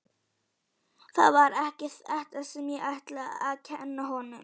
Það var ekki þetta sem ég ætlaði að kenna honum.